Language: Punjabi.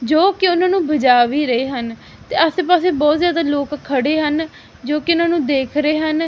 ਜੋ ਕੀ ਉਹਨਾਂ ਨੂੰ ਬਜਾ ਵੀ ਰੇ ਹਨ ਤੇ ਆਸੇ ਪਾਸੇ ਬੋਹਤ ਜਾਦਾ ਲੋਕ ਖੜੇ ਹਨ ਜੋ ਕੀ ਉਹਨਾਂ ਨੂੰ ਦੇਖ ਰਹੇ ਹਨ।